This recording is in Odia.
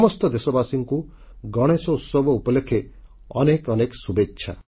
ସମସ୍ତ ଦେଶବାସୀଙ୍କୁ ଗଣେଶୋତ୍ସବ ଉପଲକ୍ଷେ ଅନେକ ଅନେକ ଶୁଭେଚ୍ଛା